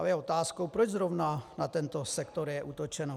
Ale je otázkou, proč zrovna na tento sektor je útočeno.